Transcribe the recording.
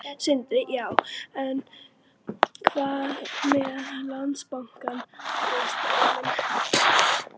Sindri: Já, en hvað með Landsbankann og Straum?